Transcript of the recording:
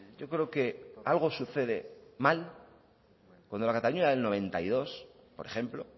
yo creo que algo sucede mal cuando la cataluña del noventa y dos por ejemplo